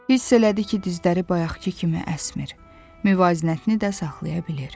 Hiss elədi ki, dizləri bayaqkı kimi əsmir, müvazinətini də saxlaya bilir.